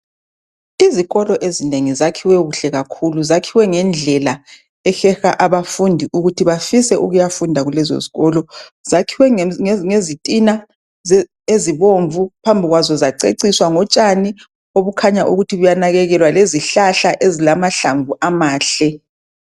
Izikolo ezinengi zakhiwe kuhle kakhulu zakhiwe ngendlela ehleha abafundi ukuthi bafise ukuyafunda kulezo zikolo zakhiwe ngezitina ezibomvu phambi kwabo zaceciswa ngotshani obukhanya ukuthi buyanakekelea lezihlahla ezilamahlamvu amahle.